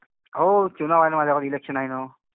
हो, चुनाव हाय ना, इलेक्शन हाय ना.